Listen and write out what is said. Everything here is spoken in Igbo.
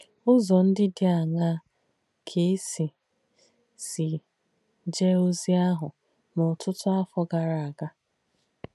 Ụ̀zọ̀ ndí dí àṅaa kà è sì sì jēē ozì àhù n’ótútú àfọ̀ gàrà àga?